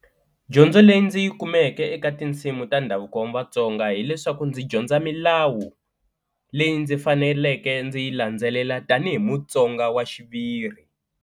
Dyondzo leyi ndzi yi kumeke eka tinsimu ta ndhavuko wa Vatsonga hileswaku ndzi dyondza milawu leyi ndzi faneleke ndzi yi landzelela tanihi Mutsonga wa xiviri.